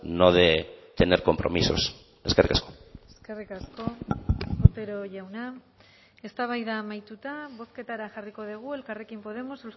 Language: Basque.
no de tener compromisos eskerrik asko eskerrik asko otero jauna eztabaida amaituta bozketara jarriko dugu elkarrekin podemos